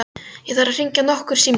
Ég þarf að hringja nokkur símtöl.